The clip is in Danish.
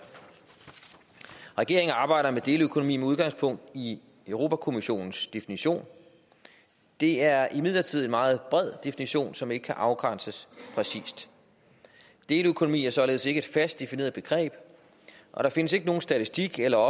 regeringen arbejder med deleøkonomi med udgangspunkt i europa kommissionens definition det er imidlertid en meget bred definition som ikke kan afgrænses præcist deleøkonomi er således ikke et fast defineret begreb og der findes ikke nogen statistik eller